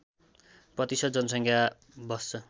प्रतिशत जनसङ्ख्या बस्छ